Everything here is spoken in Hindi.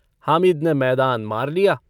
हामिद ने मैदान मार लिया।